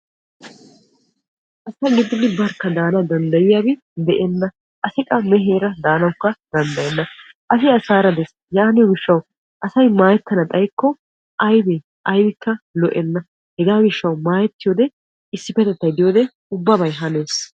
Asa gididi barakka daanaw danddayiyaabi de'enna. Asi qassi meeheera daanawukka danddayenna. Asi asaara dees. Yaaniyoo gishshawu asay maayettana xayikko aybee? Aybikka lo"enna. Hegaa gishshaw maayettiyoodee issippetettay de"iyoodee ubbabay hanees.